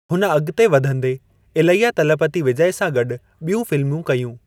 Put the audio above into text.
हुन अॻिते वधंदे इलैया तलपति विजय सां गॾु ॿियूं फ़िल्मूं कयूं।